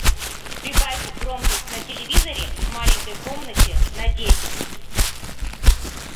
прибавь громкость на телевизоре в маленькой комнате на десять